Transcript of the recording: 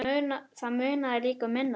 Það munaði líka um minna.